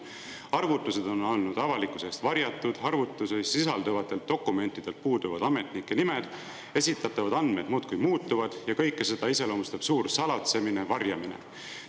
Arvutused on olnud avalikkuse eest varjatud, arvutuste dokumentidel puuduvad ametnike nimed, esitatavad andmed muudkui muutuvad ja kõike seda iseloomustab suur salatsemine, varjamine.